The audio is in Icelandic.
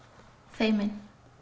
feimin